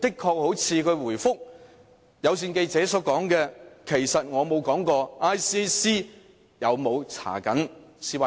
她回覆有線記者所說："其實我沒有說過 ICAC 有沒有調查 CY 的案件。